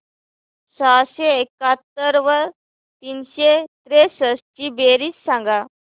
सहाशे एकाहत्तर व तीनशे त्रेसष्ट ची बेरीज सांगा